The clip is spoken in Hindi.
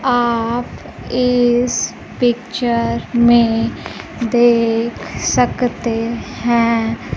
आप इस पिक्चर में देख सकते हैं।